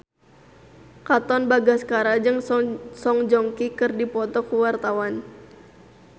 Katon Bagaskara jeung Song Joong Ki keur dipoto ku wartawan